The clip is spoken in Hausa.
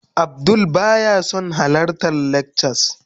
Abdul baya son halartar lectures